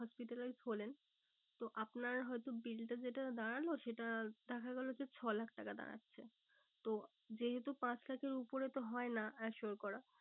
Hospitalized হলেন তো আপনার হয়তো bill টা যেটা দাঁড়ালো সেটা দেখা গেলো যে ছলাখ টাকা দাঁড়াচ্ছে। তো যেহেতু পাঁচ লাখের উপরে তো হয় না assure করা।